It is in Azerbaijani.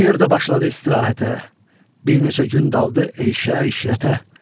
O yerdə başladı istirahətə, bir neçə gün daldı eyşə işrətə.